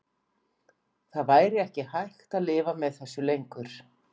Það væri ekki hægt að lifa með þessu lengur.